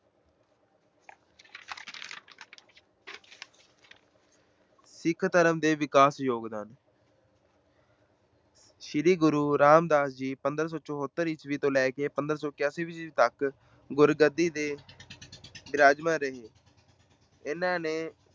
ਸਿੱਖ ਧਰਮ ਦੇ ਵਿਕਾਸ ਚ ਯੋਗਦਾਨ ਸ੍ਰੀ ਗੁਰੂ ਰਾਮਦਾਸ ਜੀ ਪੰਦਰਾਂ ਸੌ ਚੋਹੱਤਰ ਈਸਵੀ ਤੋਂ ਲੈ ਕੇ ਪੰਦਰਾਂ ਸੌ ਇਕਆਸੀ ਈਸਵੀ ਤੱਕ ਗੁਰਗੱਦੀ ਤੇ ਬਿਰਾਜਮਾਨ ਰਹੇ ਇਹਨਾਂ ਨੇ